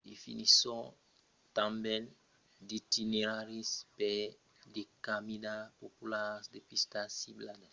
definisson tanben d‘itineraris per de caminadas popularas e de pistas ciclablas